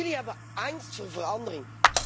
Jullie hebben angst voor verandering.